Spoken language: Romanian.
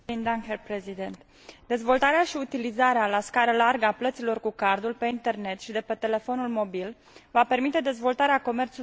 Dezvoltarea și utilizarea la scară largă a plăților cu cardul pe internet și de pe telefonul mobil va permite dezvoltarea comerțului electronic european.